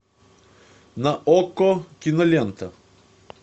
на окко кинолента